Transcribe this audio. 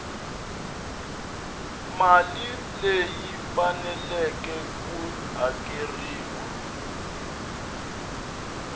mali leyi faneleke ku hakeriwa